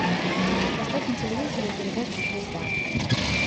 поставь на телевизоре передачу звезда